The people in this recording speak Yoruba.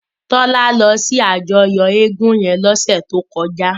Tola lò si àjòyò égùn yèn lòsè tókòjá